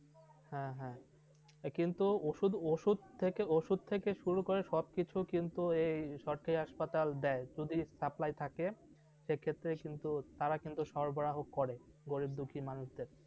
হ্যাঁ, হ্যাঁ, কিন্তু ওষুধ ওষুধ থেকে ওষুধ থেকে শুরু করে সব কিছু কিন্তু এই সরকারি hospital দেয় যদি supply থাকে, সে ক্ষেত্রে কিন্তু তাঁরা কিন্তু সরবরাহ করে, গরিব দুঃখী মানুষদের।